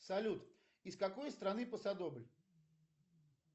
салют из какой страны пасодобль